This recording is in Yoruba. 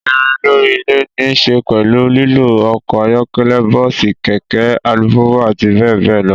Ìrín lórí ilè ní se pèlú lílo okò ayókélé, bóòsì, kèké, alupùpù, àti béè béè lo